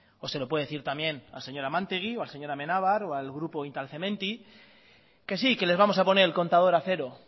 o se lo puede decir también al señor amantegui o al señor amenábar o al grupo instal cementi que sí que les vamos a poner el contador a cero